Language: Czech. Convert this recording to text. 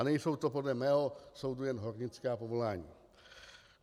A nejsou to podle mého soudu jen hornická povolání.